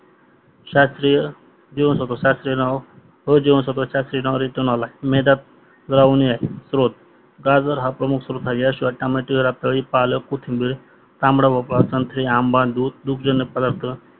श्रात्रिय जीवांसत्व श्रात्रियनाव अ जीवांसत्व श्रात्रियनावमध्ये तान आला आहे मेधात द्रावणे आहे स्त्रोत्र कार्बन हा प्रमुख स्त्रोत्र आहे या स्त्रोत्रात रातडी पालक कोथिंबीर संत्री आंबा दूध तुपजण्यक प्रदार्थ